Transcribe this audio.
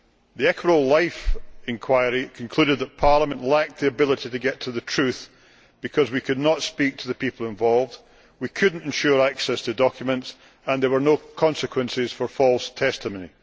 The Equitable Life inquiry concluded that Parliament lacked the ability to get to the truth because we could not speak to the people involved, we could not ensure access to documents and there were no consequences for false testimony.